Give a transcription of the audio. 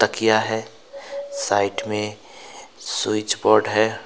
किया है साइट में स्विच बोर्ड है।